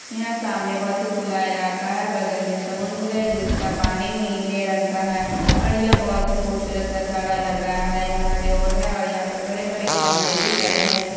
यहाँ सामने बहुत ही खुला इलाका है बगल में समुद्र है जिसका पानी नीले रंग का है और ये बहुत ही खुबसूरत नजारा लग रहा है और यहाँ रोड है और बड़े बड़े खंभे भी खड़े हैं।